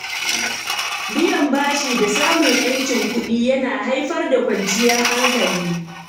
Biyan bashi da samun ‘yancin kuɗi yana haifar da kwanciyar hankali.